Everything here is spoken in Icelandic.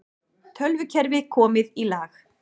Tölvukerfi komið í lag